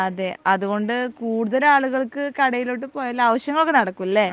ആ അതെ അതുകൊണ്ട് കൂടുതൽ ആളുകൾക്ക് കടയിലോട്ട് പോയാൽ ആവിശ്യങ്ങൾ ഒക്കെ നടക്കുംലെ